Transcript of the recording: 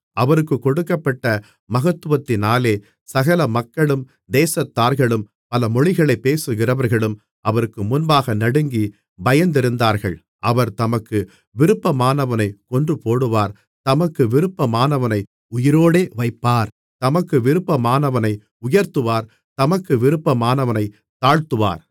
அவருக்குக் கொடுக்கப்பட்ட மகத்துவத்தினாலே சகல மக்களும் தேசத்தார்களும் பல மொழிகளைப் பேசுகிறவர்களும் அவருக்கு முன்பாக நடுங்கிப் பயந்திருந்தார்கள் அவர் தமக்கு விருப்பமானவனைக் கொன்றுபோடுவார் தமக்கு விருப்பமானவனை உயிரோடே வைப்பார் தமக்கு விருப்பமானவனை உயர்த்துவார் தமக்கு விருப்பமானவனைத் தாழ்த்துவார்